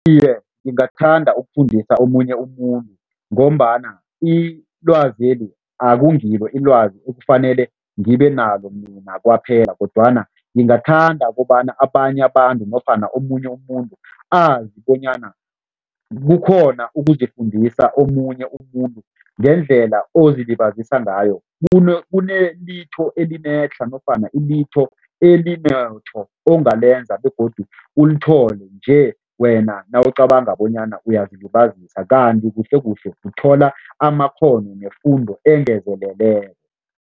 Iye, ngingathanda ukufundisa omunye umuntu ngombana ilwazeli akungilo ilwazi ekufanele ngibenalo mina kwaphela kodwana ngingathanda kobana abanye abantu nofana omunye umuntu azi bonyana kukhona ukuzifundisa omunye umuntu ngendlela ozilibazisa ngayo kunelitho elinetlha nofana ilitho elinetho ongalenza begodu ulithole nje wena nawucabanga bonyana uyazilibazisa kanti kuhlekuhle uthola amakghono nefundo engezeleleko.